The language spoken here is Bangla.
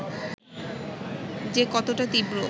যে কতটা তীব্র